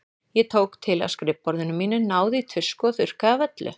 Ég tók til á skrifborðinu mínu, náði í tusku og þurrkaði af öllu.